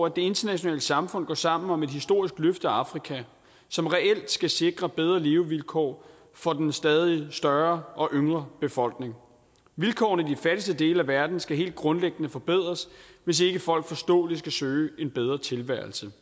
internationale samfund går sammen om et historisk løft af afrika som reelt skal sikre bedre levevilkår for den stadig større og yngre befolkning vilkårene i den fattigste del af verden skal helt grundlæggende forbedres hvis ikke folk forståeligt skal søge en bedre tilværelse